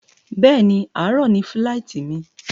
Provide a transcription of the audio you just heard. bẹ́ẹ̀ni, àárọ̀ ni fíláìtí mi